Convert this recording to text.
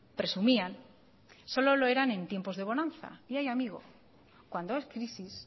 presumían solo lo eran en tiempos de bonanza y ay amigo cuando hay crisis